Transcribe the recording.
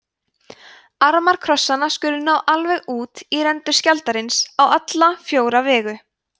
armar krossanna skulu ná alveg út í rendur skjaldarins á alla fjóra vegu